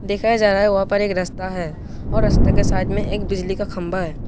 देखा जा रहा है वहां पर एक रास्ता है और रास्ते के साइड में एक बिजली का खंबा है।